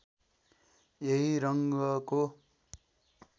यही रङ्गको